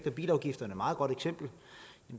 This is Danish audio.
på